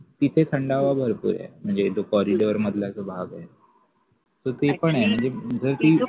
तिथे थंडावा भरपूर आहे म्हणजे जो corridor मधला जो भाग आहे तर ते पण आहे